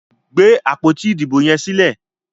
gbé àpótí Ìdìbò yes sílè!